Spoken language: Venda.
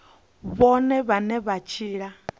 vhone vhane na u tshila